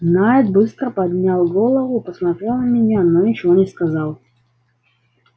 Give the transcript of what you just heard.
найд быстро поднял голову посмотрел на меня но ничего не сказал